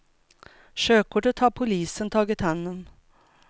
Körkortet har polisen tagit hand om.